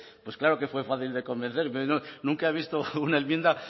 pues claro que fue fácil de convencer nunca he visto una enmienda